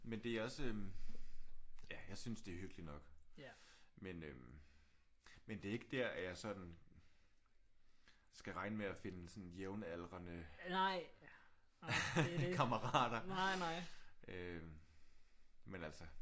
Men det er også øh ja jeg synes det er hyggeligt nok. Men øh men det er ikke der at jeg sådan skal regne med at finde sådan jævnaldrende kammerater øh men altså